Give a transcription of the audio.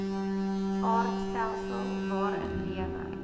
aardstelsel waarin lewe